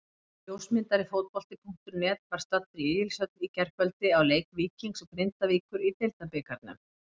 Ljósmyndari Fótbolti.net var staddur í Egilshöll í gærkvöldi á leik Víkings og Grindavíkur í Deildabikarnum.